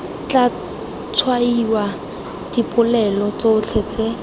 tla tshwaiwa dipolelo tsotlhe tse